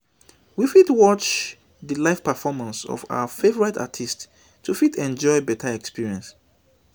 we fit watch di live performance of our favourite artist to fit enjoy better experience